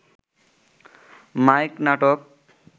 mic নাটক